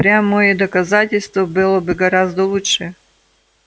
прямое доказательство было бы гораздо лучше